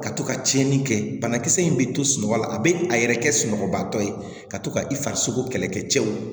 Ka to ka tiɲɛni kɛ banakisɛ in bɛ to sunɔgɔ la a bɛ a yɛrɛ kɛ sunɔgɔbatɔ ye ka to ka i farisoko kɛlɛkɛ cɛw